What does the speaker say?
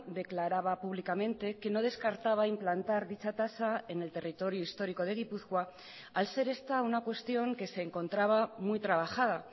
declaraba públicamente que no descartaba implantar dicha tasa en el territorio histórico de gipuzkoa al ser esta una cuestión que se encontraba muy trabajada